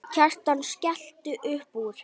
Kjartan skellti upp úr.